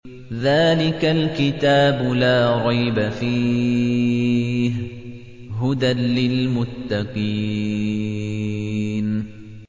ذَٰلِكَ الْكِتَابُ لَا رَيْبَ ۛ فِيهِ ۛ هُدًى لِّلْمُتَّقِينَ